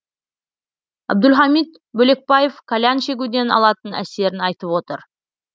әбдулхамит бөлекбаев кальян шегуден алатын әсерін айтып отыр